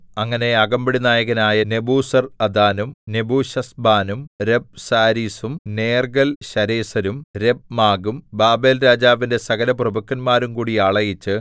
അങ്ങനെ അകമ്പടിനായകനായ നെബൂസർഅദാനും നെബൂശസ്ബാനും രബ്സാരീസും നേർഗ്ഗൽശരേസരും രബ്മാഗും ബാബേൽരാജാവിന്റെ സകലപ്രഭുക്കന്മാരുംകൂടി ആളയച്ച്